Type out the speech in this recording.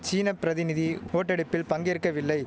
சீன பிரதிநிதி ஓட்டெடுப்பில் பங்கேற்கவில்லை